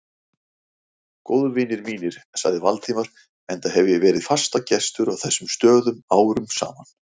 Góðvinir mínir sagði Valdimar, enda hef ég verið fastagestur á þessum stöðum árum saman